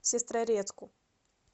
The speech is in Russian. сестрорецку